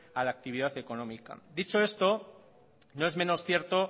a la actividad económica dicho esto no es menos cierto